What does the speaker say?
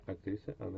актриса анна